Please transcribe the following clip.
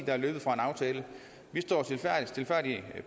er løbet fra en aftale vi står